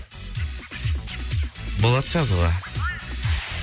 болады жазуға